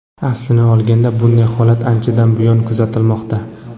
Aslini olganda, bunday holat anchadan buyon kuzatilmoqda.